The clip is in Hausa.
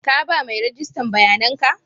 Ka ba mai rijistan bayanan ka?